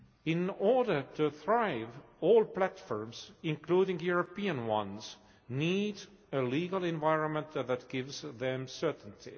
In order to thrive, all platforms including European ones need a legal environment that gives them certainty.